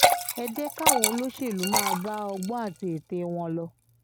ẹ jẹ́ káwọn olóṣèlú máa bá ọgbọ́n àti ète wọn lọ